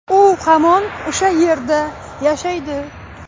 U hamon o‘sha yerda yashaydi.